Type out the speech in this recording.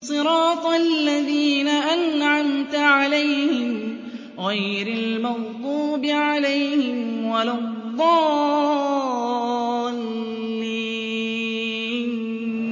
صِرَاطَ الَّذِينَ أَنْعَمْتَ عَلَيْهِمْ غَيْرِ الْمَغْضُوبِ عَلَيْهِمْ وَلَا الضَّالِّينَ